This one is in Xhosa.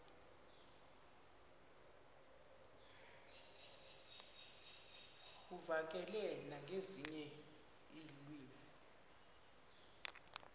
uvakale nangezinye iilwimi